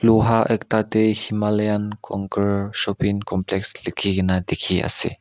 luha ekta tae himalayan conquer shopping complex lekhina na dekhi ase.